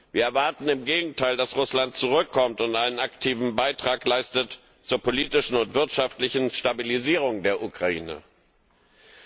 Wir erwarten im Gegenteil, dass Russland zurückkommt und einen aktiven Beitrag zur politischen und wirtschaftlichen Stabilisierung der Ukraine leistet.